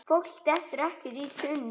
Fólk dettur ekkert í sundur.